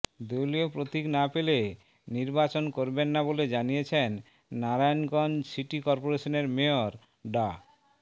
দলীয় প্রতীক না পেলে নির্বাচন করবেন না বলে জানিয়েছেন নারায়ণগঞ্জ সিটি করপোরেশনের মেয়র ডা